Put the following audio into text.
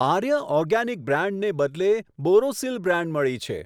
આર્ય organic બ્રાંડને બદલે Borosil brand મળી છે.